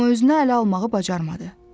Amma özünü ələ almağı bacarmadı.